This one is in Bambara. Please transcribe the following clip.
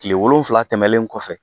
Tile wolonwula tɛmɛnen kɔfɛ